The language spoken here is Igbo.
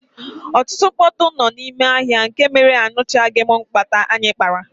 Ọtụtụ mkpọtụ nọ n'ime ahịa nke mere ia nụchaghim nkata anyị kpara.